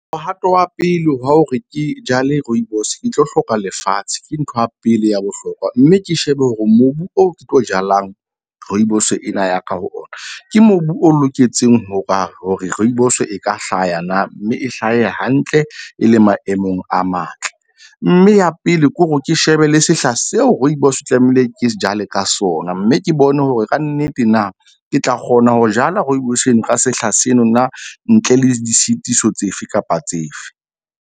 Mohato wa pele wa hore ke jale rooibos, ke tlo hloka lefatshe ke ntho ya pele ya bohlokwa, mme ke shebe hore mobu oo ke tlo jalang rooibos ena ya ka ho ona ke mobu o loketseng, hoba hore rooibos-o e ka hlaya na mme e hlahe hantle, e le maemong a matle. Mme ya pele ke hore ke shebe le sehla seo rooibos tlamehile ke jale ka sona. Mme ke bone hore kannete na ke tla kgona ho jala rooibos eno ka sehla seno na ntle le disitiso tsefe kapa tsefe.